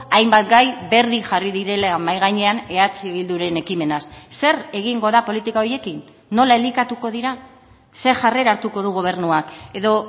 hainbat gai berri jarri direla mahai gainean eh bilduren ekimenaz zer egingo da politika horiekin nola elikatuko dira ze jarrera hartuko du gobernuak edo